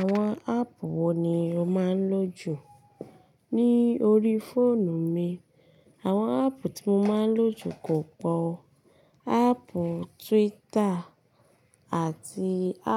Àwon app wo ni o máa ń lò jù ní orí fóònù mi? Àwon app tí mo máa ń lò jù kò pò. App Twitter àti